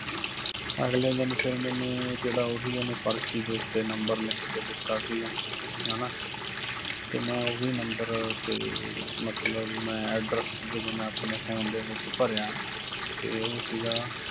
ਅਗਲੇ ਦਿਨ ਫਿਰ ਮੈਨੂੰ ਜਿਹੜਾ ਉਹੀ ਉਹਨੇ ਪਰਚੀ ਦੇ ਉੱਤੇ number ਲਿੱਖ ਕੇ ਦਿੱਤਾ ਸਿਗਾ, ਹੈਨਾ ਤੇ ਮੈਂ ਉਹੀ number ਤੇ ਮਤਲਬ ਮੈਂ address ਜਦੋਂ ਮੈਂ ਆਪਣੇ phone ਦੇ ਵਿੱਚ ਭਰਿਆ ਤੇ ਉਹ ਸਿਗਾ